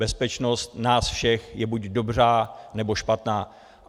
Bezpečnost nás všech je buď dobrá, nebo špatná.